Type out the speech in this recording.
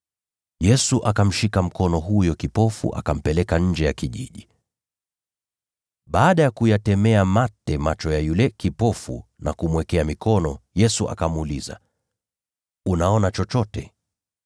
Yesu akamshika mkono huyo kipofu akampeleka nje ya kijiji. Baada ya kuyatemea mate macho ya yule kipofu na kumwekea mikono, Yesu akamuuliza, “Unaona chochote?”